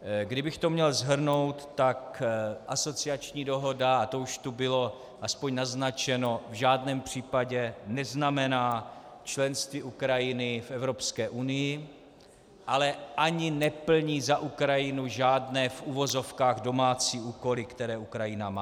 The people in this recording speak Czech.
Kdybych to měl shrnout, tak asociační dohoda - a to už tu bylo aspoň naznačeno - v žádném případě neznamená členství Ukrajiny v Evropské unii, ale ani neplní za Ukrajinu žádné v uvozovkách domácí úkoly, které Ukrajina má.